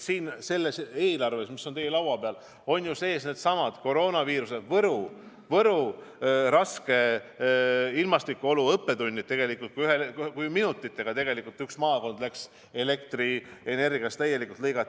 Siin selles eelarves, mis on teie laua peal, on sees needsamad koroonaviiruse õppetunnid, ka Võrumaa raskete ilmastikuolude õppetunnid, kui minutitega üks maakond elektrisüsteemist täielikult ära lõigati.